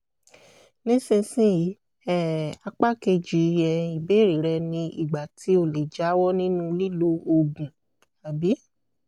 nísinsìnyí um apá kejì um ìbéèrè rẹ ni ìgbà tí o lè jáwọ́ nínú lílo oògùn um